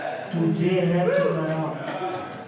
तुझे है पुकारा